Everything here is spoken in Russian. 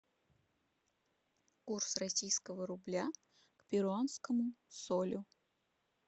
курс российского рубля к перуанскому солю